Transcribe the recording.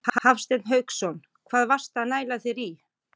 Hafsteinn Hauksson: Hvað varstu að næla þér í?